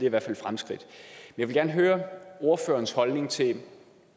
i hvert fald et fremskridt jeg vil gerne høre ordførerens holdning til